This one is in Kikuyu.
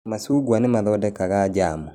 Macungwa nĩ mathondekaga njamu